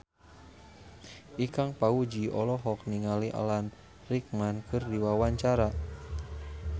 Ikang Fawzi olohok ningali Alan Rickman keur diwawancara